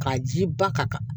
K'a ji ba ka kan